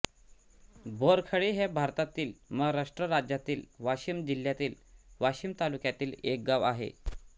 बोरखेडी हे भारतातील महाराष्ट्र राज्यातील वाशिम जिल्ह्यातील वाशीम तालुक्यातील एक गाव आहे